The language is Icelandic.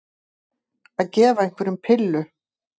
Að gefa einhverjum pillu